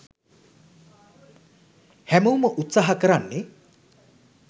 හැමෝම උත්සාහ කරන්නේ